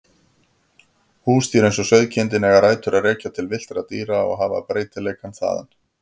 Húsdýr eins og sauðkindin eiga rætur að rekja til villtra dýra og hafa breytileikann þaðan.